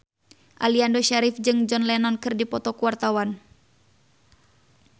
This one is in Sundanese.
Aliando Syarif jeung John Lennon keur dipoto ku wartawan